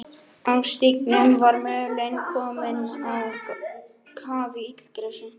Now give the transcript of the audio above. Á stígnum var mölin komin á kaf í illgresi.